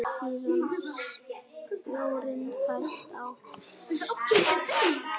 Síaði sjórinn fæst á